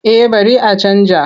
Eh bari a canja.